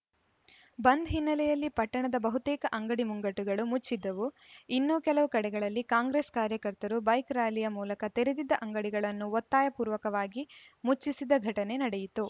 ಬಂದ್‌ ಹಿನ್ನೆಲೆಯಲ್ಲಿ ಪಟ್ಟಣದ ಬಹುತೇಕ ಅಂಗಡಿ ಮುಂಗಟ್ಟುಗಳು ಮುಚ್ಚಿದ್ದವು ಇನ್ನು ಕೆಲವು ಕಡೆಗಳಲ್ಲಿ ಕಾಂಗ್ರೆಸ್‌ ಕಾರ್ಯಕರ್ತರು ಬೈಕ್‌ ರಾರ‍ಯಲಿ ಮೂಲಕ ತೆರೆದಿದ್ದ ಅಂಗಡಿಗಳನ್ನು ಒತ್ತಾಯಪೂರ್ವಕವಾಗಿ ಮುಚ್ಚಿಸಿದ ಘಟನೆ ನಡೆಯಿತು